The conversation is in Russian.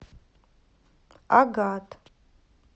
агат